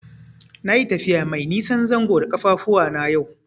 Nayi tafiya mai nisan zango da ƙafafuwana yau.